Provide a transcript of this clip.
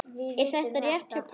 Er þetta rétt hjá Páli?